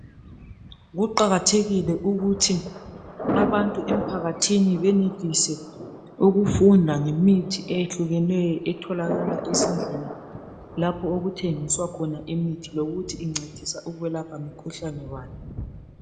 Kuqakathekile ukuthi abantu emphakathini benelise ukufunda ngemithi eyehlukeneyo etholakala ezindlini lapho okuthengiswa khona imithi lokuthi iyelapha imikhuhlane bani.